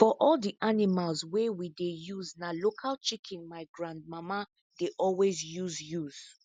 for all the animals wey we dey use na local chicken my grandmama dey always use use